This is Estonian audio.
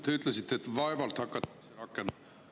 Te ütlesite, et vaevalt hakatakse seda rakendama.